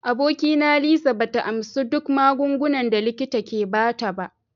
Abokina Lisa ba ta amsa duk magungunan da likita ke ba ta ba.